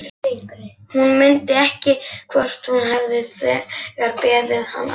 Hún mundi ekki hvort hún hefði þegar beðið hann afsökunar.